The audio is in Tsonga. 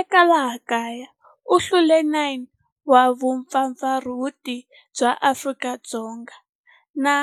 Eka laha kaya u hlule 9 wa vumpfampfarhuti bya Afrika-Dzonga na